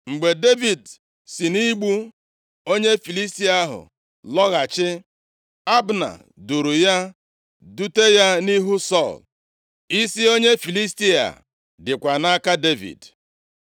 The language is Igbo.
Mgbe Devid si nʼigbu onye Filistia ahụ lọghachi, Abna duuru ya, dute ya nʼihu Sọl. Isi onye Filistia a dịkwa nʼaka Devid.